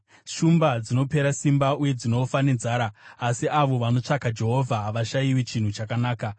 Shumba dzinopera simba uye dzinofa nenzara, asi avo vanotsvaka Jehovha havashayiwi chinhu chakanaka.